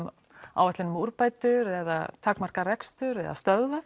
áætlun um úrbætur eða takmarka rekstur eða stöðva